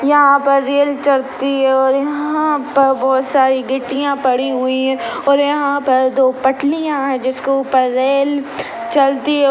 यहाँ पर रेल चलती है और यहाँ पर बहोत सारी गिट्टीया पड़ी हुई है और यहाँ पर दो पटलिया है जिसके ऊपर रेल चलती है।